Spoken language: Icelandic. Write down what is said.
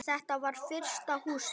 Þetta var fyrsta Húsið.